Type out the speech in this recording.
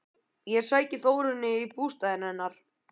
Ég sæki Þórunni í bústaðinn hennar.